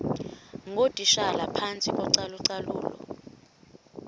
ngootitshala phantsi kocalucalulo